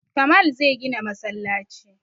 Kamal zai gina masallaci